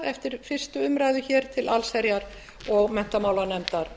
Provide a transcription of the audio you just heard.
eftir fyrstu umræðu hér til háttvirtrar allsherjar og menntamálanefndar